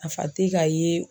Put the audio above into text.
Nafa te ka ye.